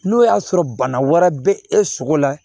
N'o y'a sɔrɔ bana wɛrɛ bɛ e sogo la